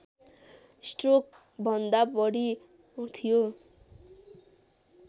स्ट्रोकभन्दा बढी थियो